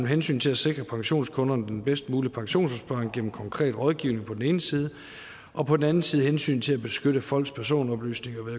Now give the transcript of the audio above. hensynet til at sikre pensionskunderne den bedst mulige pensionsopsparing gennem en konkret rådgivning på den ene side og på den anden side hensynet til at beskytte folks personoplysninger